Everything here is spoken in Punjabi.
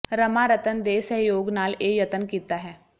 ਰਮਾ ਰਤਨ ਦੇ ਸਹਿਯੋਗ ਨਾਲ ਇਹ ਯਤਨ ਕੀਤਾ ਹੈ